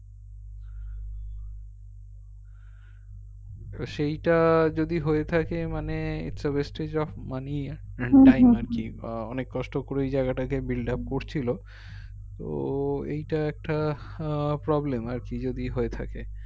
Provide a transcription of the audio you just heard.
তো সেইটা যদি হয়ে থাকে মানে its a wastage of money আর কি আহ অনেক কষ্ট করে ওই জায়গাটাকে build up করছিল তো এইটা একটা আহ problem আরকি যদি হয়ে থাকে